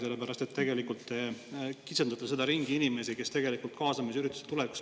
Sellepärast et te tegelikult kitsendate seda inimeste ringi, kes hakkavad tulevikus kaasamisüritustel käima.